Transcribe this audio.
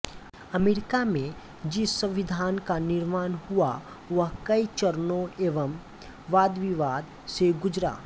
America में जिस संविधान का निर्माण हुआ वह कई चरणों एवं वादविवाद से गुजरा